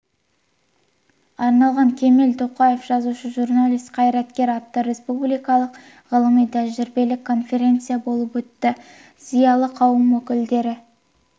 арналған кемел тоқаев жазушы журналист қайраткер атты республикалық ғылыми-тәжірибелік конференция болып өтті зиялы қауым өкілдері